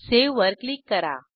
save वर click करा